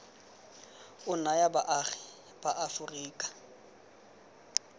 o naya baagi ba aforika